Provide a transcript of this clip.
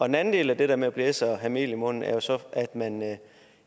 den anden del af det der med at blæse og have mel i munden er jo så at man